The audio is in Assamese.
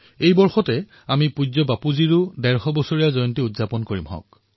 এই বৰ্ষত আমি পূজ্য বাপুৰ ১৫০তম জয়ন্তী বৰ্ষ পালন কৰি আছোঁ